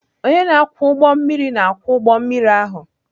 Onye na-akwọ ụgbọ mmiri na-akwọ ụgbọ mmiri ahụ.